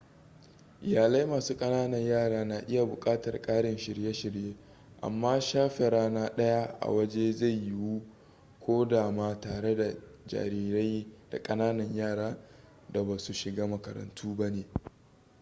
iyalai masu kananan yara na iya bukatar ƙarin shirye-shirye amma shafe rana daya a waje zai yiwu ko da ma tare da jarirai da kananan yara da basu shiga makarantu ba ne